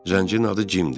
Zəncir adı Jimdir.